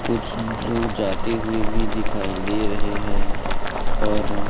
कुछ लोग जाते हुए भी दिखाई दे रहे हैं और--